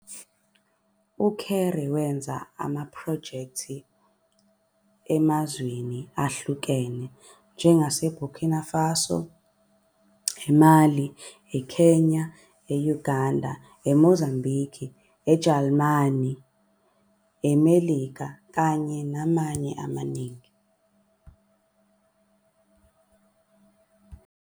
UKéré wenze amaphrojekthi emazweni ahlukene njengaseBurkina Faso, eMali, eKenya, eUganda, eMozambiki, eJalimane, eMelika nakwamanye amaningi.